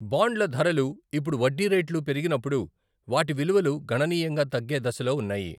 బాండ్ల ధరలు ఇప్పుడు వడ్డీ రేట్లు పెరిగినప్పుడు వాటి విలువలు గణనీయంగా తగ్గే దశలో ఉన్నాయి.